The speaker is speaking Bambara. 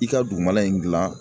I ka dugumana in gilan.